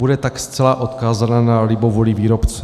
Bude tak zcela odkázána na libovůli výrobce.